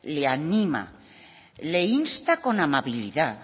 le anima y le insta con amabilidad